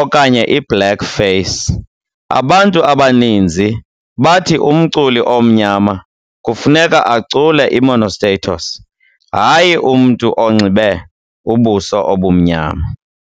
okanye i-blackface. Abantu abaninzi bathi umculi omnyama kufuneka acule uMonostatos, hayi umntu onxibe ubuso obumnyama.